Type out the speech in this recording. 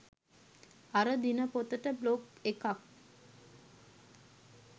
අර දිනපොතට බ්ලොග් එකක්.